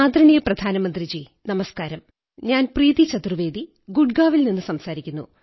ആദരണീയ പ്രധാനമന്ത്രീജി ഞാൻ പ്രീതി ചതുർവ്വേദി ഗുഡ്ഗാവിൽ നിന്നു സംസാരിക്കുന്നു